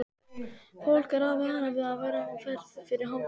Fólk er varað við að vera á ferð fyrir hádegi.